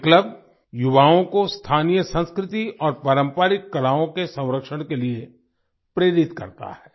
ये क्लब युवाओं को स्थानीय संस्कृति और पारंपरिक कलाओं के संरक्षण के लिए प्रेरित करता है